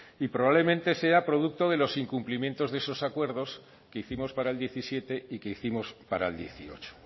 y probablemente sea producto de los incumplimientos de estos acuerdos que hicimos para el diecisiete y que hicimos para el dieciocho